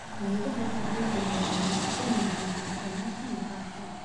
Midhaha tikidhiga waa wanaagsan yihiin caafimaadka maqaarka.